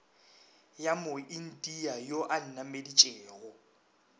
ya moindia yo a nnameditšego